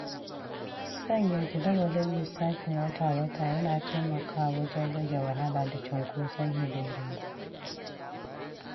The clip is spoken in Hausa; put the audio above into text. Sanya jadawalin lissafin wata-wata yana taimakawa wajen rage wahala da cinkoson hidindimu.